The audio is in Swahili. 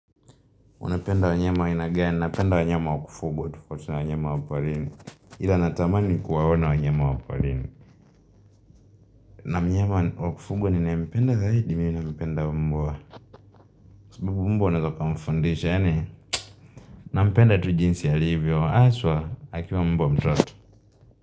Unapenda wanyama aina gani, napenda wanyama wa kufuga, tofauti wanyama wa porini. Ila natamani ni kuwaona wanyama wa porini na mnyama wa kufugwa ninaempenda zaidi, mimi nampenda mbwa. Sababu mbwa unaeza ukamfundisha, yani? Nampenda tu jinsi alivyo, haswa, akiwa mbwa mtoto.